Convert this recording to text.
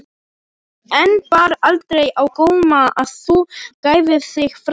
En bar aldrei á góma að þú gæfir þig fram?